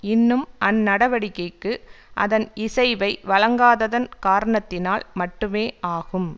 இன்னும் அந்நடவடிக்கைக்கு அதன் இசைவை வழங்காததன் காரணத்தினால் மட்டுமே ஆகும்